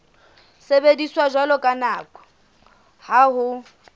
sebediswa jwalo ka ha ho